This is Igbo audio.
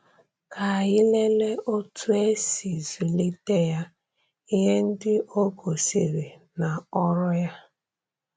Ka anyị lelee otú e si zụlite ya, ihe ndị o gosiri, na ọrụ ya.